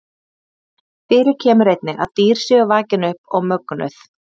Fyrir kemur einnig að dýr séu vakin upp og mögnuð.